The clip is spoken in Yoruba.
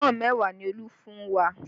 Pọ́ùn mẹ́wàá ni Olú fún wa